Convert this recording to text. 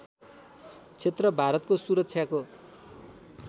क्षेत्र भारतको सुरक्षाको